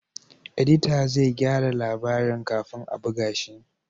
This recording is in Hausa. Edita zai gyara labarin kafin a buga shi